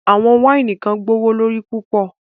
Awọn waini kan gbọwọlorí pupọ̀